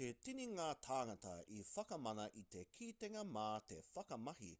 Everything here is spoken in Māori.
he tini ngā tāngata i whakamana i te kitenga mā te whakamahi